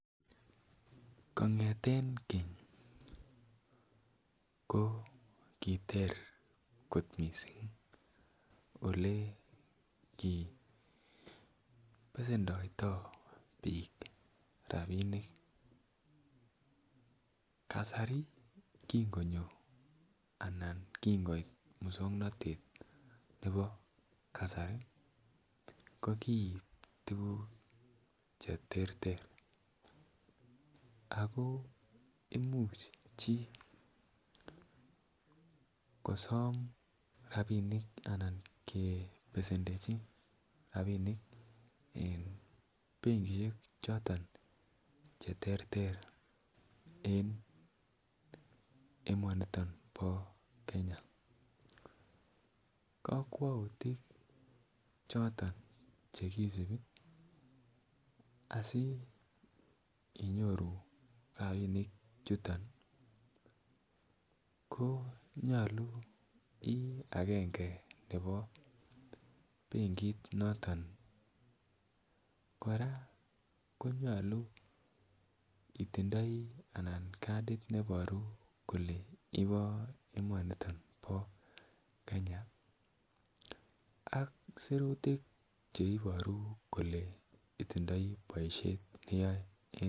Kongeten keny ko kiter kot missing ole kibesedoito bik rabinik kasari kikonyo ana kin koit muswoknotet nebo kasari ko koik tukuk cheterter ako imuch chii kosom rabinik anan kebesendechi rabinik en benkishek choton cheterter en emoniton bo Kenya. Kokwoutit choton chekisibi asi inyoru rabinik chuton ko nyolu Ii agenge nebo benkit noton. Koraa konyolu itindoi anan Kati notin neboru kole ibo emoniton bo Kenya ak sirutik cheiboru kole itindoi boishet neyoe.